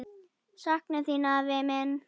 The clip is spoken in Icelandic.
Sakna þín, afi minn.